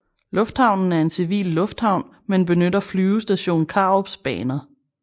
Lufthavnen er en civil lufthavn men benytter Flyvestation Karups baner